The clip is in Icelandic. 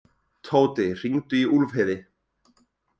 Tóti, hringdu í Úlfheiði.